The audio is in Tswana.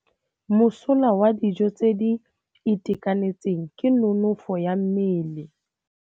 Mosola wa dijô tse di itekanetseng ke nonôfô ya mmele.